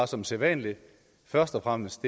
som sædvanlig først og fremmest